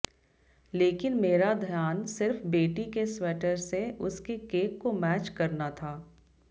लेकिन मेरा ध्यान सिर्फ बेटी के स्वैटर से उसके केक को मैच करना था